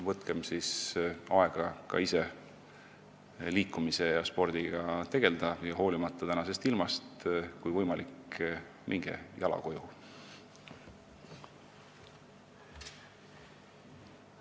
Võtkem aega ka ise liikumise ja spordiga tegelda ning kui võimalik, siis hoolimata tänasest ilmast minge jala koju!